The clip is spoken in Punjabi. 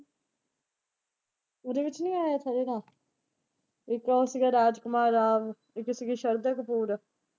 ਉਹਦੇ ਵਿੱਚ ਨਈਂ ਆਇਆ ਇੱਕ ਉਹ ਸੀਗਾ ਰਾਜ ਕੁਮਾਰ ਰਾਮ ਇੱਕ ਸੀਗੀ ਸ਼ਰਦਾ ਕਪੂਰ।